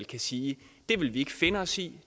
kan sige det vil vi ikke finde os i